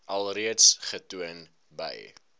alreeds getoon by